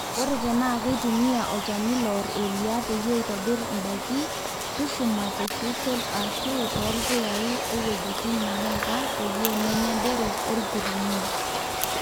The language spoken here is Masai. ore tenaa keitumia olchani loor eria peyie eitobir ndaiki, tushuma te sisal ashu toolpuyai too wuejitin naaika peyie menya derok olkirumun